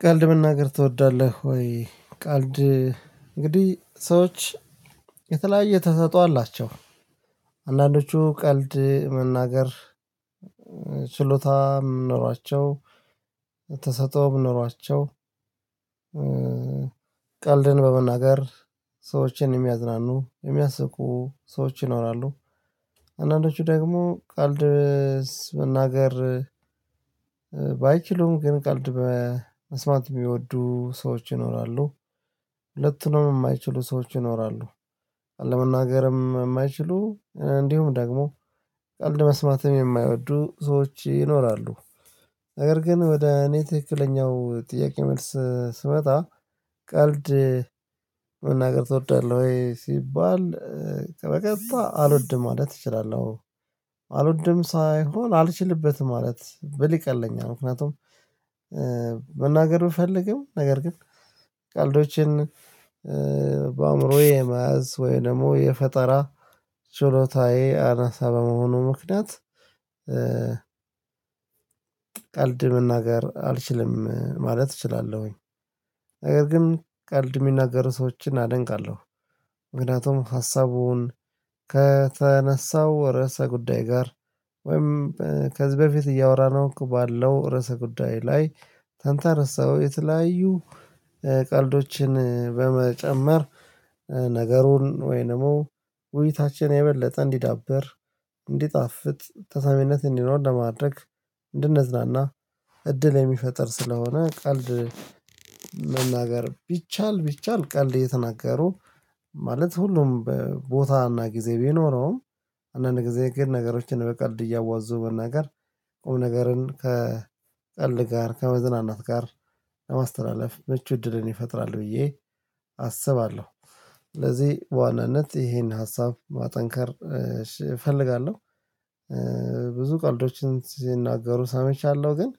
ቀልድ መናገር ትወዳለህ ወይ? ቀልድ እንግዲህ ሰዎች የተለያየ ተሰጥኦ አላቸው አንዳንዶቹ ቀልድ መናገር ችሎታ የምኖራቸው ተሰጦ የምኖራቸው ቀልድን በመናገር ሰዎችን የሚያዝናኑ የሚያስቁ ሰዎች ይኖራሉ። አንዳንዶቹ ደግሞ ቀልድ መናገር ባይችሉም ግን ቀልድ በመስማት የሚወዱ ሰዎች ይኖራሉ። ሁለቱንም የማይችሉ ሰዎች ይኖራሉ። ለመናገርም የማይችሉ እንዲሁም ደግሞ ቀልድ መስማትም የማይወዱ ሰዎች ይኖራሉ። ነገር ግን ወደ እኔ ትክክለኛው ጥያቄ መልስ ስመጣ ቀልድ መናገር ትወዳለህ ወይ ሲባል ከበቀጥታ አልወድም ማለት እችላለሁ አልወድም ሳይሆን አልችልበትም ማለት ብል ይቀለኛል። ምክንያቱም ብፈልግም ነገር ግን ቀልዶችን በአእምሮዬ መያዝ ወይ ደግሞ የፈጠራ ችሎታዬ አናሳ በመሆኑ ምክንያት እ ቀልድ መናገር አልችልም ማለት እችላለሁኝ። ነገር ግን ቀልድ የሚናገሩ ሰዎችን አደንቃለሁ። ምክንያቱም ሀሳቡን ከተነሳው ርዕሰ ጉዳይ ጋር ወይም ከዚህ በፊት እያወራን ነው ባለው ርዕሰ ጉዳይ ላይ ተንተርሰው የተለያዩ ቀልዶችን በመጨመር ነገሩን ወይንም ውይይታችን የበለጠ እንዲዳበር እንዲጣፍጥ ተሰሚነት እንዲኖር ለማድረግ እንድንዝናና እድል የሚፈጥር ስለሆነ። ቀልድ መናገር ቢቻል ቢቻል ቀልድ እየተናገሩ ማለት ሁሉም በቦታና ጊዜ ቢኖረውም አንዳንድ ጊዜ ግን ነገሮችን በቀልድ እያዋዙ መናገር ቁም ነገርን ከቀልድ ጋር ከመዝናናት ጋር ለማስተላለፍ ምቹ እድልን ይፈጥራል ብዬ አስባለሁ። ስለዚህ በዋናነት ይሄን ሀሳብ ማጠንከር እፈልጋለሁ። ብዙ ቀልዶችን ስናገሩ ሰምቻለሁ ግን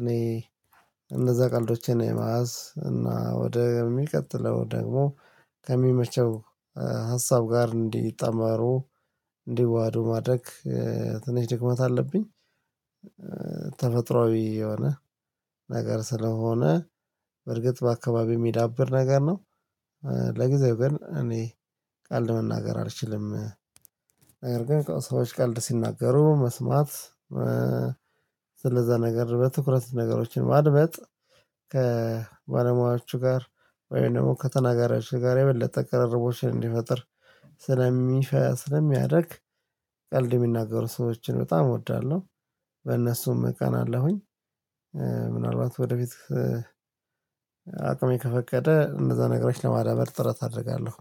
እኔ እንደዛ ቀልዶቼን የመያዝ እና ወደ የሚቀጥለው ደግሞ ከሚመቸው ሀሳብ ጋር እንዲጠማሩ እንዲዋሀዱ ማድረግ ትንሽ ድክመት አለብኝ። ተፈጥሮአዊ የሆነ ነገር ስለሆነ በርግጥ በአካባቢው የሚዳብር ነገር ነው። ለጊዜው ግን እኔ ቀልድ መናገር አልችልም። ነገር ግን ሰዎች ቀልድ ሲናገሩ መስማት ነገር በትኩረት ነገሮችን ማድመጥ ከባለሙያዎቹ ጋር ወይም ደግሞ ከተናጋሪዎች ጋር የበለጠ ቅርርቦችን እንዲፈጥር ስለሚያደርግ ቀልድ የሚናገሩ ሰዎችን በጣም እወዳለሁ በእነሱም እቀናአለሁኝ። ምናልባት ወደፊት አቅሜ ከፈቀደ እንደዛ ነገሮች ለማዳበር ጥረት አደርጋለሁ።